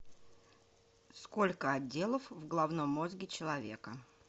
сколько отделов в головном мозге человека